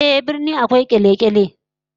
Ehh, birni akwai kyalkyali